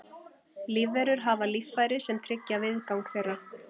lífverur hafa líffæri sem tryggja viðgang þeirra